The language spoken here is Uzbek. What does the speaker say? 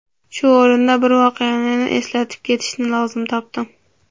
Shu o‘rinda bir voqeani eslab ketishni lozim topdim.